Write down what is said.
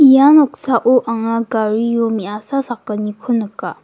ia noksao anga gario me·asa sakgniko nika.